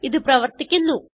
ഇത് പ്രവർത്തിക്കുന്നു